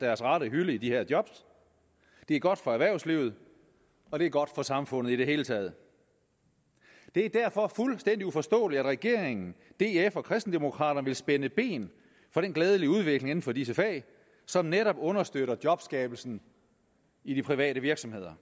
deres rette hylde i de her job det er godt for erhvervslivet og det er godt for samfundet i det hele taget det er derfor fuldstændig uforståeligt at regeringen df og kristendemokraterne vil spænde ben for den glædelige udvikling inden for disse fag som netop understøtter jobskabelsen i de private virksomheder